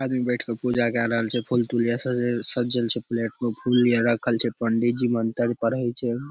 आदमी बैठ के पूजा के रहल छै फूल तूल ये स ए सजल छै प्लेट प्लेट मे फूल ये रखल छै पंडी जी मंतर पढ़े छै।